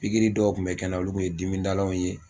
Pikiri dɔw kun bɛ kɛ n na, olu kun ye dimidalaw ye